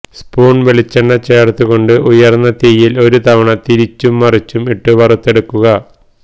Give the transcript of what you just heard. spoon വെളിച്ചെണ്ണ ചേർത്തുകൊഞ്ച് ഉയർന്ന തീയിൽ ഒരു തവണ തിരിച്ചു മറിച്ചു ഇട്ട് വറുത്തെടുക്കുക